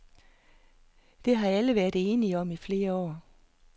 Det har alle været enige om i flere år.